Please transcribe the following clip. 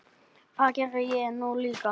Það geri ég nú líka.